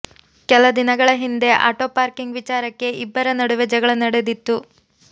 ಕೆಲ ದಿನಗಳ ಹಿಂದೆ ಆಟೋ ಪಾರ್ಕಿಂಗ್ ವಿಚಾರಕ್ಕೆ ಇಬ್ಬರ ನಡುವೆ ಜಗಳ ನಡೆದಿತ್ತು